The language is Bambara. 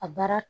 A baara